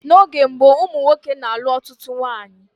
N'oge gboo ụmụ nwoke na-alụ ọtụtụ nwaanyị